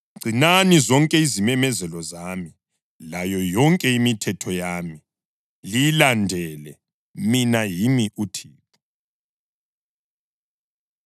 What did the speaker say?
Gcinani zonke izimemezelo zami, layo yonke imithetho yami, liyilandele. Mina yimi uThixo.’ ”